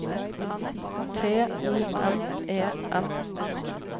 T O N E N